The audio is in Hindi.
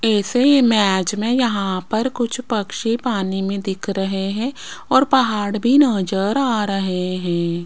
इस इमेज में यहां पर कुछ पक्षी पानी में दिख रहे हैं और पहाड़ भी नजर आ रहे हैं।